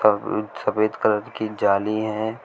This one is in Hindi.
एक सफेद कलर की जाली है।